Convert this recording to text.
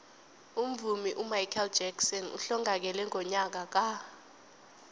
umvumi umichael jackson uhlongakele ngonyaka ka